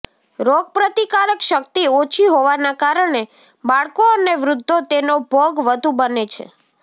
રોગ પ્રતિકારક શક્તિ ઓછી હોવાના કારણે બાળકો અને વૃદ્ધો તેનો ભોગ વધુ બને છે